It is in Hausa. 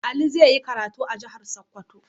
Ali zai yi karatu a jihar Sokoto.